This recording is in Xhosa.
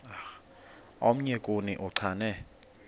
omnye kuni uchane